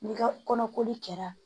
N'i ka kɔnɔ koli kɛra